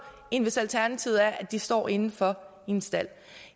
end hvis alternativet er at de står indenfor i en stald